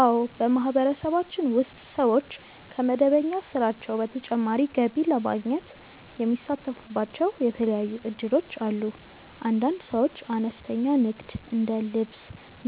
አዎ፣ በማህበረሰባችን ውስጥ ሰዎች ከመደበኛ ስራቸው በተጨማሪ ገቢ ለማግኘት የሚሳተፉባቸው የተለያዩ እድሎች አሉ። አንዳንድ ሰዎች አነስተኛ ንግድ እንደ ልብስ፣